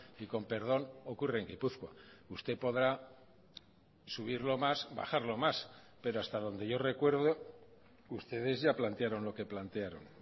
y con perdón ocurre en gipuzkoa usted podrá subirlo más bajarlo más pero hasta donde yo recuerdo ustedes ya plantearon lo que plantearon